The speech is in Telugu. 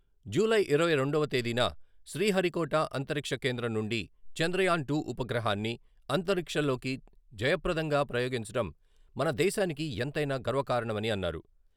జూలై ఇరవై రెండవ తేదీన శ్రీహరికోట అంతరిక్ష కేంద్రం నుండి చంద్రయాన్ టు ఉపగ్రహాన్ని అంతరిక్షంలోకి జయప్రదంగా ప్రయోగించడం మన దేశానికి ఎంతైనా గర్వకారణమని అన్నారు.